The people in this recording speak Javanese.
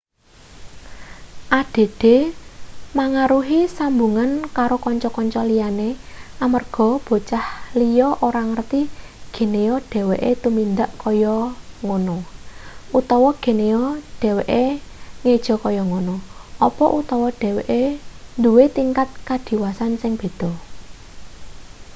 add mangaruhi sambungan karo kanca-kanca liyane amarga bocah liya ora ngerti geneya dheweke tumindak kaya ngono utawa geneya dheweke ngeja kaya ngono apa utawa dheweke duwe tingkat kadiwasan sing beda